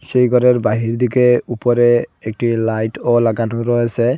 সেই ঘরের বাহির দিকে উপরে একটি লাইটও লাগানো রয়েসে।